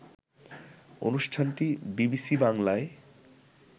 অনুষ্ঠানটি বিবিসি বাংলায়